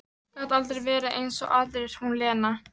Gat aldrei verið eins og aðrir, hún Lena.